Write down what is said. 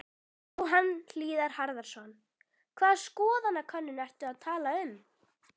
Jóhann Hlíðar Harðarson: Hvaða skoðanakönnun ertu að tala um?